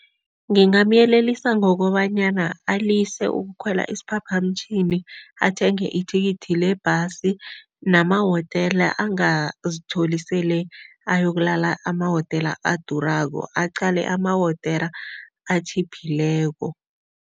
Ngingamyelelisa ngokobanyana alise ukukhwela isiphaphamtjhini, athenge ithikithi lebhasi, namahotela angazitholi sele ayokuhlala emahotela adurako, aqale amahotela atjhiphileko.